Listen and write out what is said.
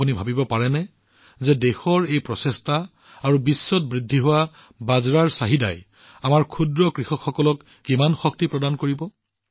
আপোনালোকে কল্পনা কৰিব পাৰে যে দেশৰ এই প্ৰচেষ্টা আৰু বিশ্বত বাজৰাৰ বৰ্ধিত চাহিদাই আমাৰ ক্ষুদ্ৰ কৃষকসকলক শক্তি প্ৰদান কৰিব